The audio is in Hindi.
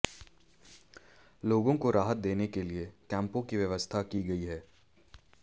लोगों को राहत देने के लिए कैंपों की व्यवस्था की गई है